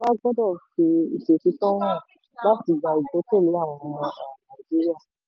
um ìjọba gbọ́dọ̀ fi ìṣòtítọ́ hàn láti gba ìgbẹ́kẹ̀lé àwọn ọmọ um nàìjíríà.